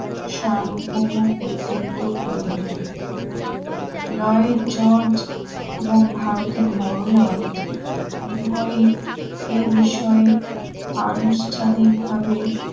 সার্বভৌম কর্তৃত্ব করিবে লয়ের জর্জ এবং ভারতের বড়লা ট উভয়ই এ বিষয়ে আনুষ্ঠানিকভাবে